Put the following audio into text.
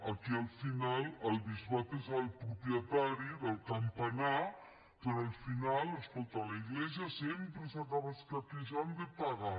aquí al final el bisbat és el propietari del campanar però al final escolta l’església sempre s’acaba escaquejant de pagar